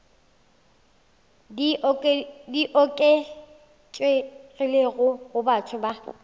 di oketšegilego go batho ba